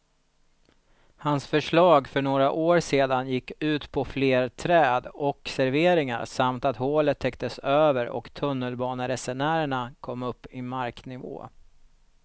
Hans förslag för några år sedan gick ut på fler träd och serveringar samt att hålet täcktes över och tunnelbaneresenärerna kom upp i marknivå.